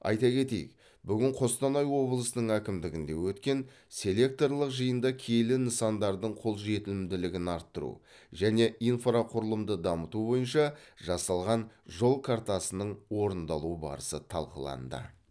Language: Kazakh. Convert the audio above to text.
айта кетейік бүгін қостанай облысының әкімдігінде өткен селекторлық жиында киелі нысандардың қолжетімділігін арттыру және инфрақұрылымды дамыту бойынша жасалған жол картасының орындалу барысы талқыланды